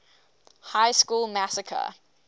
high school massacre